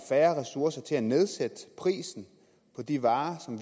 færre ressourcer til at nedsætte prisen på de varer som